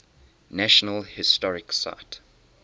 national historic site